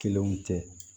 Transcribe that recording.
Kelenw tɛ